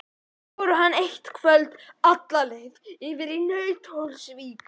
Báru hana eitt kvöld alla leið yfir í Nauthólsvík.